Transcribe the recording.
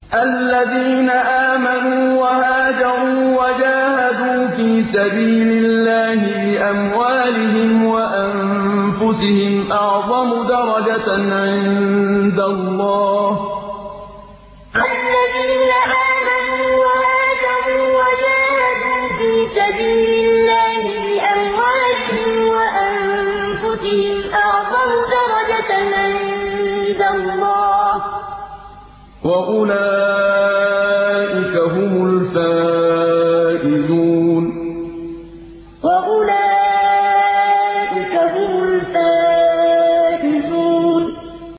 الَّذِينَ آمَنُوا وَهَاجَرُوا وَجَاهَدُوا فِي سَبِيلِ اللَّهِ بِأَمْوَالِهِمْ وَأَنفُسِهِمْ أَعْظَمُ دَرَجَةً عِندَ اللَّهِ ۚ وَأُولَٰئِكَ هُمُ الْفَائِزُونَ الَّذِينَ آمَنُوا وَهَاجَرُوا وَجَاهَدُوا فِي سَبِيلِ اللَّهِ بِأَمْوَالِهِمْ وَأَنفُسِهِمْ أَعْظَمُ دَرَجَةً عِندَ اللَّهِ ۚ وَأُولَٰئِكَ هُمُ الْفَائِزُونَ